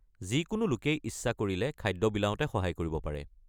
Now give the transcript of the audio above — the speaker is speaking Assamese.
যিকোনো লোকেই ইচ্ছা কৰিলে খাদ্য বিলাওঁতে সহায় কৰিব পাৰে।